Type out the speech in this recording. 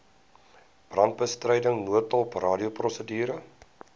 brandbestryding noodhulp radioprosedure